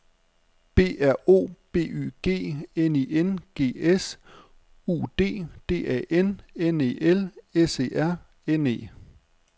B R O B Y G N I N G S U D D A N N E L S E R N E